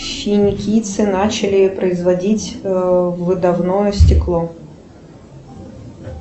финикийцы начали производить выдувное стекло